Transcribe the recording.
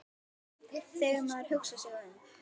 Þegar maður hugsar sig um.